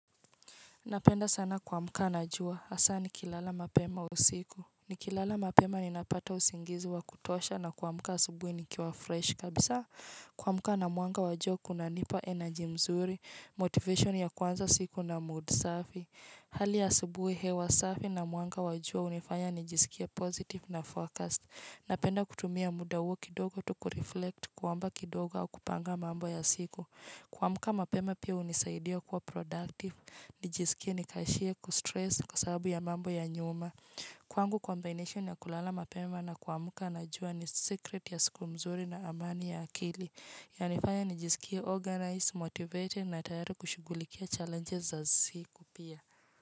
Napenda sana kuamka na juwa. Asa ni kilala mapema usiku. Ni kilala mapema ni napata usingizi wa kutosha na kuamuka asubui ni kiwa fresh. Kabisa kuamuka na mwanga wa jua kuna nipa energy mzuri, motivation ya kuanza siku na mood safi. Hali ya aubuhi hewa safi na mwanga wa jua unifanya nijisikie positive na focused. Na penda kutumia muda uo kidogo tu kureflect kwamba kidogo au kupanga mambo ya siku. Kuamuka mapema pia unisaidia kuwa productive. Nijisikia nikashia kustress kwa sababu ya mambo ya nyuma. Kuangu combination ya kulala mapema na kuamuka na jua ni secret ya siku mzuri na amani ya akili. Yanifanya nijisikie organized, motivated na tayari kushugulikia challenges za siku pia.